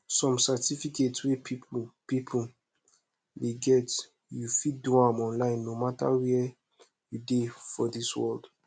some certificate wey people people dey get u fit do am online no matter where u dey for dis world